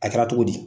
A kɛra cogo di